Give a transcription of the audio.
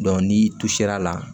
ni tu ser'a la